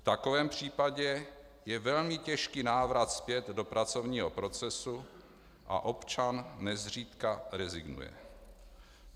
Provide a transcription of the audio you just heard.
V takovém případě je velmi těžký návrat zpět do pracovního procesu a občan nezřídka rezignuje.